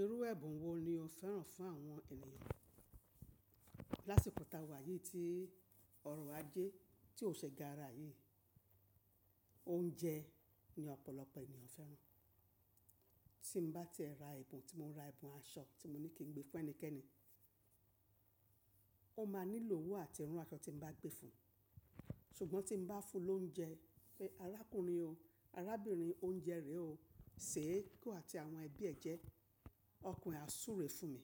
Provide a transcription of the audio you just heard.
Irú ẹ̀bùn wo ni o fẹ́ràn fún àwọn ènìyàn? Láṣìkò ta wà yìí tí ọrọ̀ ajẹ́ tí ò ṣe gára yìí, oúnjẹ ni ọ̀pọ̀lọpọ̀ ènìyàn fẹ́ràn. Tí m bá ti e ra ẹ̀bùn, tí mo ra ẹ̀bùn aṣọ tí mo ní kí n gbé fún ẹnikẹ́ni, ó máa nílò owó àti ran aṣọ tí mo bá gbé fun. Ṣùgbọ́n tí m bá fún lóúnjẹ pe: arákùnrin o, arábìnrin oúnjẹ rè o, séè ki iwo àti àwọn ẹbí ẹ̀ jẹ, ọkan e á súure fún mi.